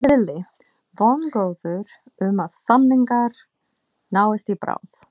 Lillý: Vongóður um að samningar náist í bráð?